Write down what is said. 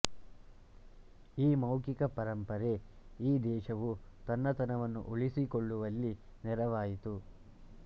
ಈ ಮೌಖಿಕ ಪರಂಪರೆ ಈ ದೇಶವು ತನ್ನತನವನ್ನು ಉಳಿಸಿಕೊಳ್ಳುವಲ್ಲಿ ನೆರವಾಯಿತು